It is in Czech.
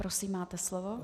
Prosím, máte slovo.